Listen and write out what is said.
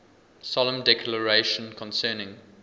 solemn declaration concerning